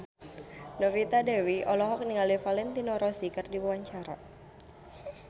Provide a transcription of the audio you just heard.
Novita Dewi olohok ningali Valentino Rossi keur diwawancara